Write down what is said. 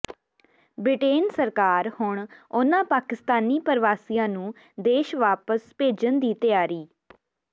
Britain ਸਰਕਾਰ ਹੁਣ ਉਨ੍ਹਾਂ ਪਾਕਿਸਤਾਨੀ ਪ੍ਰਵਾਸੀਆਂ ਨੂੰ ਦੇਸ਼ ਵਾਪਸ ਭੇਜਣ ਦੀ ਤਿਆਰੀ